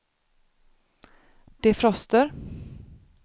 defroster